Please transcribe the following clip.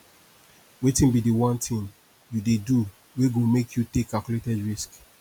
wetin be di one thing you dey do wey go make you take calculated risks